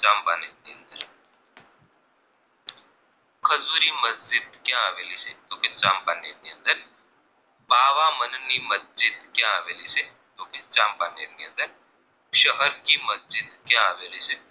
ક્યાં આવેલી છે તો કે ચાંપાનેર ની અંદર પાવામન ની મસ્જિદ ક્યાં આવેલી છે તો કે ચાંપાનેર ની અંદર શહરકી મસ્જિદ ક્યાં આવેલી છે